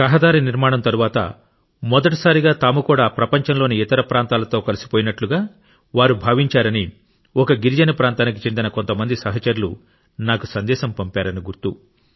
రహదారి నిర్మాణం తరువాత మొదటిసారిగా తాము కూడా ప్రపంచంలోని ఇతర ప్రాంతాలతో కలిసిపోయినట్టుగా వారు భావించారని ఒక గిరిజన ప్రాంతానికి చెందిన కొంతమంది సహచరులు నాకు సందేశం పంపారని గుర్తు